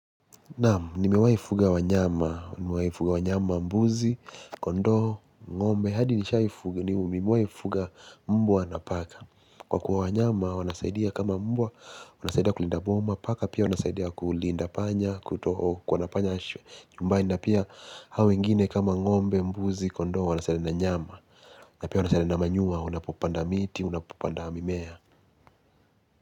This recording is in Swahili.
Naamu, nimewaifuga wanyama, nimewaifuga wanyama, mbuzi, kondo, ngombe, hadi nishaifuga, nimewaifuga mbua na paka. Kwa kuwa wanyama, wanasaidia kama mbua, wanasaidia kulinda boma, paka pia wanasaidia kulinda panya, kutoho, kwanapanya aswe. Nyumba ya, nina pia hawingine kama ngombe, mbuzi, kondo, wanasaidia na nyama. Na pia wanasaidia na manyua, unapopanda miti, unapopanda mimea.